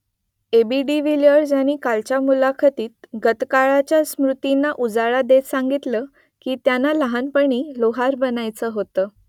AB de Villiers यांनी कालच्या मुलाखतीत गतकाळातल्या स्मृतींना उजाळा देत सांगितलं की त्यांना लहानपणी लोहार बनायचं होतं